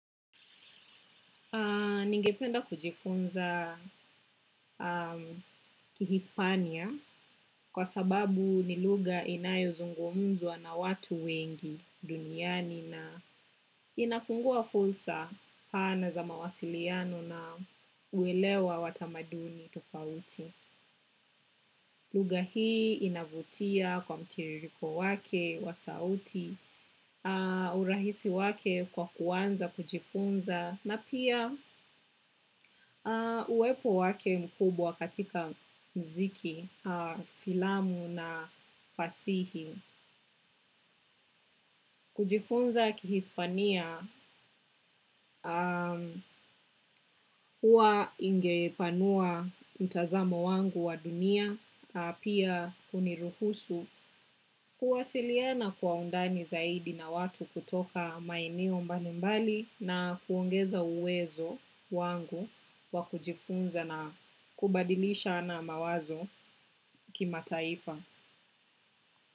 Ningependa kujifunza kihispania kwa sababu ni lugha inayozungumzwa na watu wengi duniani na inafungua fursa pana za mawasiliano na uelewa wa tamaduni tofauti. Lugha hii inavutia kwa mtiririko wake, wa sauti, urahisi wake kwa kuanza, kujifunza, na pia uwepo wake mkubwa katika mziki, filamu na fasihi. Kujifunza kihispania huwa ingepanua mtazamo wangu wa dunia pia huniruhusu kuwasiliana kwa undani zaidi na watu kutoka maeneo mbalimbali na kuongeza uwezo wangu wa kujifunza na kubadilishana mawazo kimataifa.